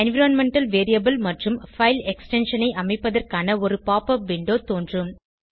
environmental variable மற்றும் file extension ஐ அமைப்பதற்கான ஒரு போப்பப் விண்டோ தோன்றும்